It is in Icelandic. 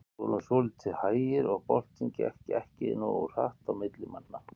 Við vorum svolítið hægir og boltinn gekk ekki nógu hratt á milli manna.